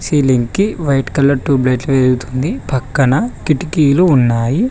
ఈ లింక్ కి white colour tube లైట్లు వెలుగుతుంది పక్కన కిటికీలు ఉన్నాయి.